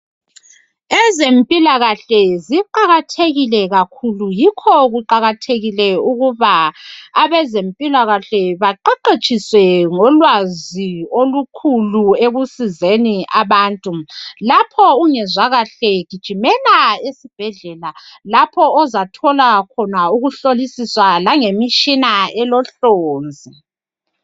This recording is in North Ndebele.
Ezempilakahle ziqakathekile kakhulu. Yikho kuqakathekile ukuba abezempilakahle, baqeqetshiswe ngolwazi olukhulu, ekusizeni abantu. Lapho ungezwa kahle, gijimela esibhedlela. Lapho ozathola khona ukuhlolisiswa, langemitshina elohlonzi.